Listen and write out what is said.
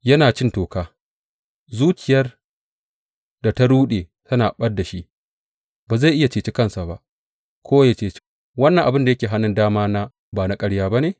Yana cin toka, zuciyar da ta ruɗe tana ɓad da shi; ba zai iya cece kansa ba, ko ya ce, Wannan abin da yake hannun dama na ba ƙarya ba ne?